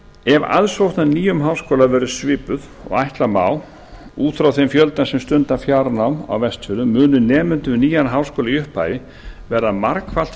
ef aðsókn að nýjum háskóla verður svipuð og ætla má út frá þeim fjölda sem stunda fjárnám á vestfjörðum munu nemendur við nýjan háskóla í upphafi verða margfalt